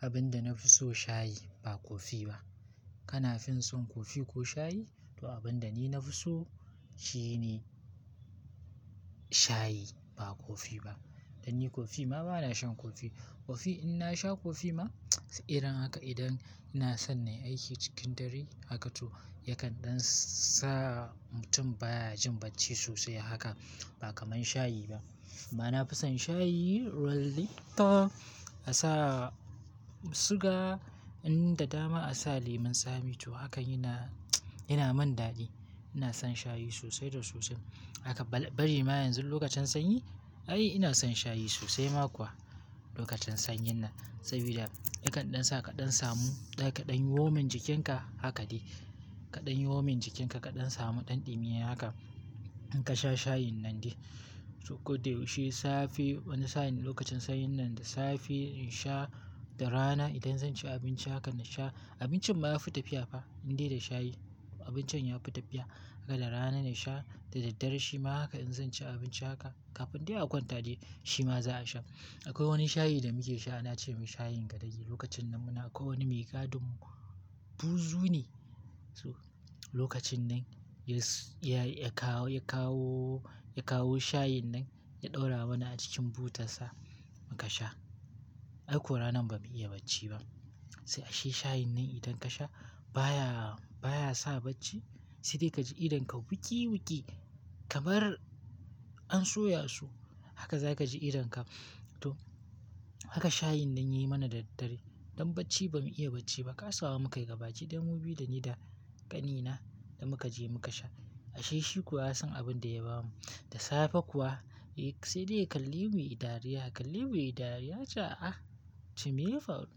Abin da na fi so shayi ba kofi ba. Kana fin son kofi ko shayi? To abin da ni na fi so shine shayi ba kofi ba. Dan ni kofi ma bana shan kofi. Kofi in na sha kofi ma irin haka idan ina son nayi aiki cikin dare haka to yakan dan sa mutum baya jin bacci sosai haka ba kamar shayi ba. Ma na fi son shayi, a sa siga, in da dama a sa lemun tsami to hakan yana yana mun dadi. Ina son shayi sosai da sosai. Haka bari ma yanzu lokacin sanyi ai ina son shayi sosai ma kuwa lokacin sanyin nan. Sabida yakan dan sa ka dan samu, da kaɗan yi womin jikin ka haka dai. Kaɗan yi womin jikin ka, kaɗan samu ɗan ɗumi haka in ka sha shayin nan dai. To koda yaushe safe wani sa'in lokacin sanyin nan da safe in sha, da rana idan zan ci abinci haka na sha. Abincin ma ya fi tafiya fa in dai da shayi abincin ya fi tafiya. Haka da rana na sha, da dare shi ma haka in zan ci abinci haka kafin dai a kwanta dai shi ma za a sha. Akwai wani shayi da muke sha ana ce mai shayin gadagi. Lokacin nan muna akwai wani mai gadin buzu ne. To lokacin nan ya, ya kawo, ya kawo, ya kawo shayin nan ya ɗaura mana a cikin butar sa muka sha. Ai ko ranan ba mu iya bacci ba. To ashe shayin nan idan kasha baya sa bacci sai dai kaji idon ka wuki wuki kamar an soya su. Haka za ka ji idon ka. To haka shayin nan ya yi mana da daddare. Don bacci ba mu iya bacci ba. Kasa wa muka yi gabaki daya mu biyu da ni da ƙanina da muka je muka sha. Ashe shi kuwa ya san abin da ya ba mu. Da safe kuwa sai dai ya ka lemu yayi dariya, ya ka lemu yayi dariya ya ce "ah! Nace me yafaru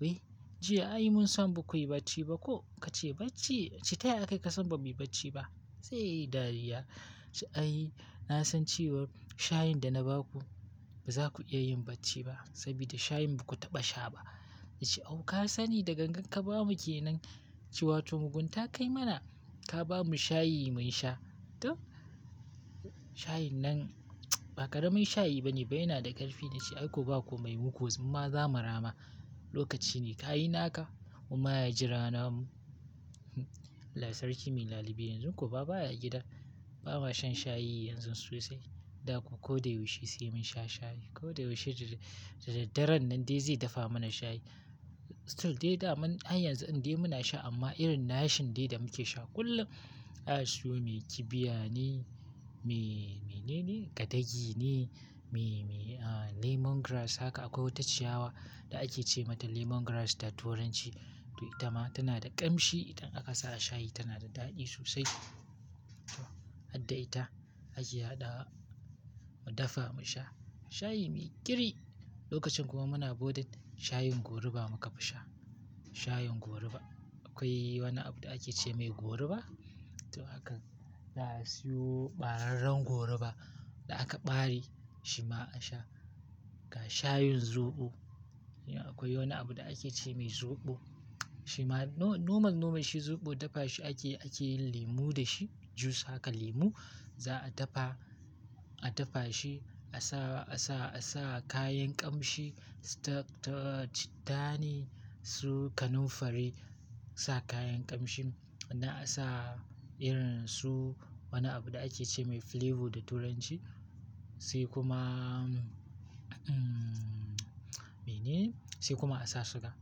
wai jiya ai munsan bakuyi bacci ba ko ka ce bacci, taya aka yi ka san ba mu yi bacci ba." Sai dai ya yi dariya. Ya ce "ai na san cewa shayin da na ba ku ba za ku iya yin bacci ba sabida shayin ba ku taɓa sha ba." nace au kasani da ganagan ka bamu kenan ce wato mugunta kayi mana ka bamu shayi mun sha. Shayin nan ba ƙaramin shayi bane bai yana da ƙarfi." Na ce "ai ko ba ku mai muku zimma za mu rama. Lokaci ne ka yi naka kuma ya jira na mu." allh sarki mai lalibe yanzu ko ma baya gida. Ba ma shan shayi yanzu sosai. Da ku kodayaushe sai mun sha shayi. Kodayaushe da daren nan dai zai dafa mana shayi. Still dai da mun har yanzu in dai muna sha amma irin na shan dai da muke sha kullum na siyo mai kibiya ne, me, me nene? Gadagi ne, me, me ah lemon grass haka akwai wata ciyawa da ake ce mata lemon grass da turanci. To ita ma tana da ƙamshi idan aka sa a shayi tana da dadi sosai. Hadda ita ake haɗawa mu dafa mu sha. Shayi mai kiri lokacin kuwa muna bodin shayin goruba muka fi sha. Shayin goruba. Akwai wani abu da ake ce mai goruba. To haka za a siyo ɓararren goruba da aka ɓare shi ma a sha. Ga shayin zoɓo. Akwai wani abu da ake ce mai zoɓo. Shi ma nomal, nomal shi zoɓo dafa shi ake, ake yin limu da shi. Juice haka limu za a dafa, a dafa shi, a sa, a sa, a sa kayan ƙamshi. Ta, ta, ta cittane su kanunfari sa kayan ƙamshin. Na a sa irin su wani abu da ake ce mai flavour da turanci. Sai kuma, mm, me nene? Sai kuma a sa siga.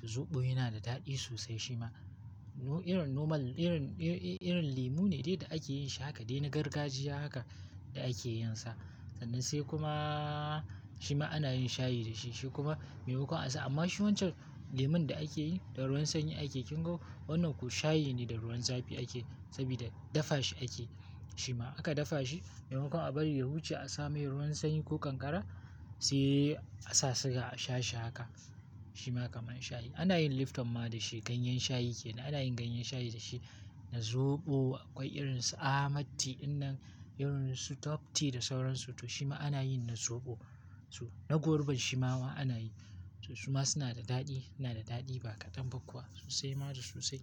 To zoɓo yana da dadi sosai shi ma. Irin noman, irin, irin limu ne dai da ake yin shi haka dai na gargajiya haka da ake yin sa. Sannan sai kuma shima anayin shayi dashi shikuma maimakon asa amma shi wancan lemun da akeyi dav ruwan sanyi akeyi. Kin ga wannan kuwa shayi ne da ruwan zafi ake sabida dafa shi ake. Aka dafa shi maimakon abari ya huce asamai ruwan sanyi ko kankara sai asa siga asha shi haka. Shi ma kamar shayi. Ana yin lifton ma da shi. Ganyen shayi ke nan. Ana yin ganyen shayi da shi. Da zobo akwai irin su ahmad tee dinnan irinsu top tea da sauransu to shima anayi da sobo. Shi ma suna da dadi. Suna da dadi ba kaɗan ba kuwa sosai ma da sosai.